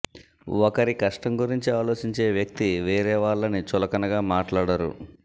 ఒకరి కష్టం గురించి ఆలోచించే వ్యక్తి వేరే వాళ్లని చులకనగా మాట్లాడరు